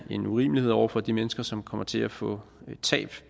en urimelighed over for de mennesker som kommer til at få et tab